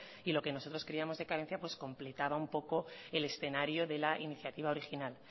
y lo que nosotros creíamos de carencia pues completaba un poco el escenario de la iniciativa original